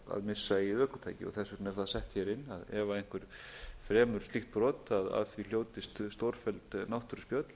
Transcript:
missa eigið ökutæki og þess vegna er það sett hér inn að ef einhver fremur slíkt brot að af því hljótist stórfelld náttúruspjöll